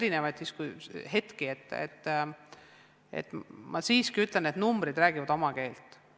Ma ütlen siiski, et numbrid räägivad oma keelt.